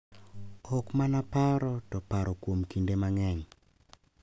Ok mana paro to paro kuom kinde mang`eny.